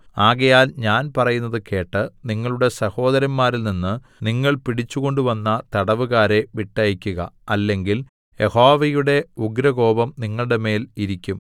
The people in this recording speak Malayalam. ആകയാൽ ഞാൻ പറയുന്നത് കേട്ട് നിങ്ങളുടെ സഹോദരന്മാരിൽനിന്ന് നിങ്ങൾ പിടിച്ചു കൊണ്ടുവന്ന തടവുകാരെ വിട്ടയക്കുക അല്ലെങ്കിൽ യഹോവയുടെ ഉഗ്രകോപം നിങ്ങളുടെമേൽ ഇരിയ്ക്കും